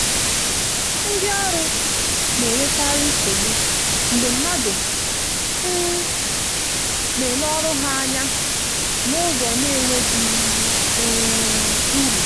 ndi ọrụ na-enwekarị nsogbu mgbe mmadụ um na-ele ọrụ ha anya n’ụzọ na-enweghị um uru